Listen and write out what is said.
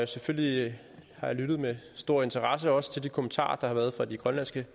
selvfølgelig har jeg lyttet med stor interesse også til de kommentarer der har været fra de grønlandske